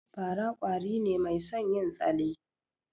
Fa ra kwari ne mai son yin tsale